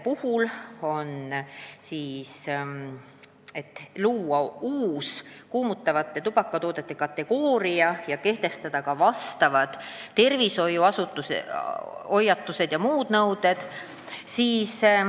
Jutt on sellest, kas luua uus, kuumutavate tubakatoodete kategooria ja kehtestada ka neile tervishoiuasutuse hoiatused ja muud nõuded.